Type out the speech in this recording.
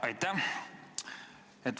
Aitäh!